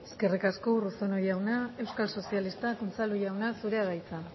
eskerrik asko urruzuno jauna euskal sozialistak unzalu jauna zurea da hitza